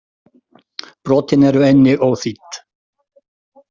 Brotin eru einnig óþýdd.